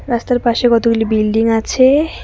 রাস্তার পাশে কতগুলি বিল্ডিং আছে।